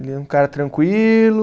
Ele é um cara tranquilo,